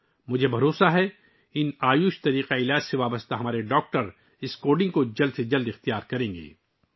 مجھے یقین ہے کہ ان آیوش نظاموں سے جڑے ہمارے ڈاکٹر جلد از جلد اس کوڈنگ کو اپنائیں گے